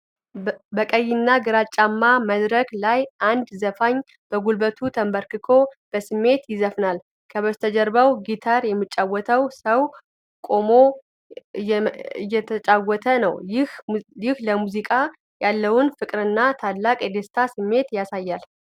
በቀይና ጭጋጋማ መድረክ ላይ አንድ ዘፋኝ በጉልበቱ ተንበርክኮ በስሜት ይዘፍናል። ከበስተጀርባው ጊታር የሚጫወተው ሰው ቆሞ እየተጫወተ ነው፤ ይህም ለሙዚቃ ያለው ፍቅርና ታላቅ የደስታ ስሜትን ያሳያል።